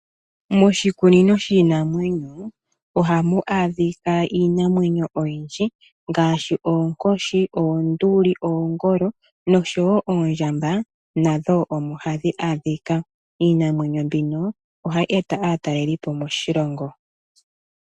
Moshikunino shiinamwenyo ohamu adhikwa iinamenyo oyindji ngaashi oonkoshi , onduli , oongolo noshowo oondjamba nadho omo hadhi adhikwa. Iinamenyo mbino ohayi eta aatalelipo moshilongo .